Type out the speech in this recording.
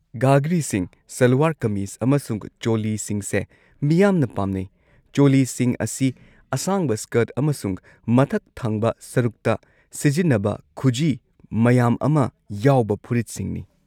ꯘꯘ꯭ꯔꯤꯁꯤꯡ, ꯁꯜꯋꯥꯔ-ꯀꯃꯤꯖ ꯑꯃꯁꯨꯡ ꯆꯣꯂꯤꯁꯤꯡꯁꯦ ꯃꯤꯌꯥꯝꯅ ꯄꯥꯝꯅꯩ꯫ ꯆꯣꯂꯤꯁꯤꯡ ꯑꯁꯤ ꯑꯁꯥꯡꯕ ꯁ꯭ꯀꯔꯠ ꯑꯃꯁꯨꯡ ꯃꯊꯛ ꯊꯪꯕ ꯁꯔꯨꯛꯇ ꯁꯤꯖꯤꯟꯅꯕ ꯈꯨꯖꯤ ꯃꯌꯥꯝ ꯑꯃ ꯌꯥꯎꯕ ꯐꯨꯔꯤꯠꯁꯤꯡꯅꯤ꯫